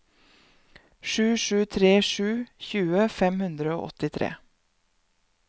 sju sju tre sju tjue fem hundre og åttitre